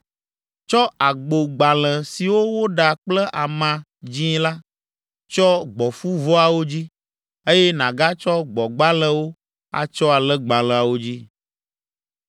Tsɔ agbogbalẽ siwo woɖa kple ama dzĩ la tsyɔ gbɔ̃fuvɔawo dzi, eye nàgatsɔ gbɔ̃gbalẽwo atsyɔ alẽgbalẽawo dzi.